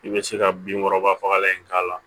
I bɛ se ka binkɔrɔba fagalan in k'a la